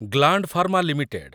gland Pharma limited